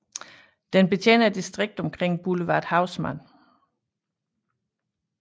Den betjener distriktet omkring boulevard Haussmann